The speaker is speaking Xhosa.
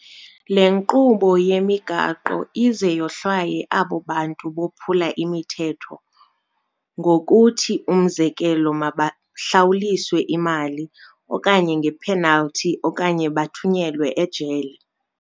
Le nkqubo yemigaqo ize yohlwaye abo bantu bophula imithetho, ngokuthi umzekelo mabahlawulise imali okanye nge-penalty okanye bathunyelwe ejele.